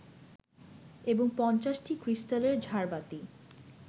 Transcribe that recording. এবং ৫০টি ক্রিস্টালের ঝাড়বাতি